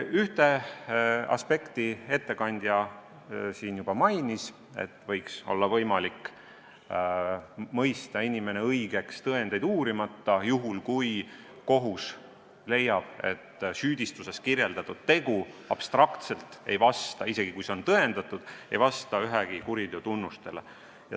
Ühte aspekti ettekandja juba mainis: võiks olla võimalik mõista inimene õigeks tõendeid uurimata, juhul kui kohus leiab, et süüdistuses kirjeldatud tegu, isegi kui see on tõendatud, ei vasta abstraktselt ühegi kuriteo tunnustele.